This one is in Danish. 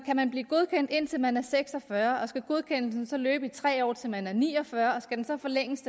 man blive godkendt indtil man er seks og fyrre år og skal godkendelsen så løbe i tre år til man er ni og fyrre år og skal den så forlænges